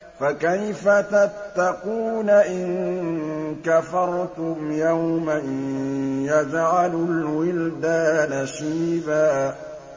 فَكَيْفَ تَتَّقُونَ إِن كَفَرْتُمْ يَوْمًا يَجْعَلُ الْوِلْدَانَ شِيبًا